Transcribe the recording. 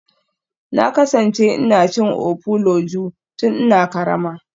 Na kasance ina cin ofuloju tun ina karama.